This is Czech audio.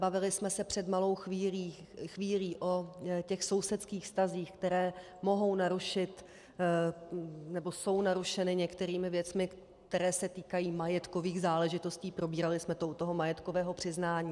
Bavili jsme se před malou chvílí o těch sousedských vztazích, které mohou narušit, nebo jsou narušeny některými věcmi, které se týkají majetkových záležitostí, probírali jsme to u toho majetkového přiznání.